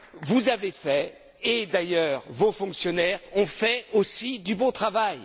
Vous avez fait et, d'ailleurs, vos fonctionnaires aussi ont fait du beau travail